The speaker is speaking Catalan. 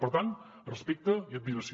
per tant respecte i admiració